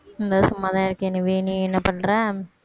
சும்மா தான் இருக்கேன் நிவி நீ என்ன பண்ற